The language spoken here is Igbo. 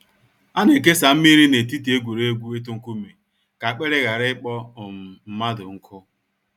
A na ekesa mmiri n’etiti egwuregwu itu nkume ka akpịrị ghara ịkpọ um mmadụ nkụ.